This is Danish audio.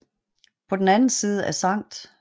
På den anden side af Skt